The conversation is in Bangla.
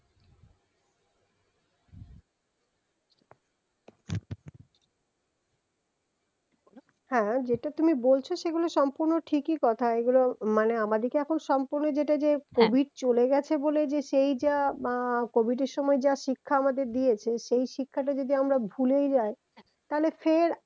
হ্যা যেটা তুমি বলছো সেগুলো সম্পূর্ন ঠিকই কথা এগুলো মানে আমাদিকে এখন সম্পূর্নই যেটা যে covid চলে গেছে বলে যে সেইটা হম covid এর সময় যা শিক্ষা আমাদের দিয়েছে সেই শিক্ষাটা যদি আমরা ভুলেই যাই হ্যা তাহলে ফের